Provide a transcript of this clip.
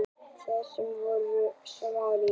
Þeir sem voru svo samrýndir!